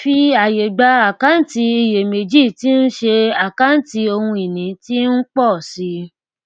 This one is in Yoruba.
fi àyè gba àkáǹtì iyèméjì tí ń ṣé àkáǹtì ohun ìní tí ń pọ sí i